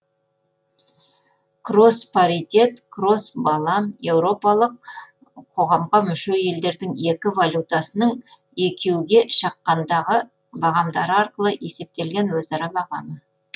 кросс паритет кросс балам еуропалық қоғамға мүше елдердің екі валютасының экю ге шаққандағы бағамдары арқылы есептелген өзара бағамы